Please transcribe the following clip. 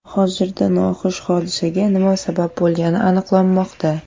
Hozirda noxush hodisaga nima sabab bo‘lgani aniqlanmoqda.